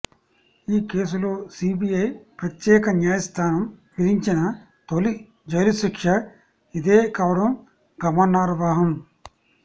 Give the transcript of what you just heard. ఈ కేసులో సీబీఐ ప్రత్యేక న్యాయస్థానం విధించిన తొలి జైలుశిక్ష ఇదే కావడం గమనార్హం